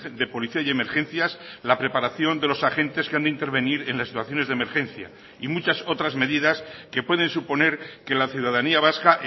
de policía y emergencias la preparación de los agentes que han de intervenir en las situaciones de emergencia y muchas otras medidas que pueden suponer que la ciudadanía vasca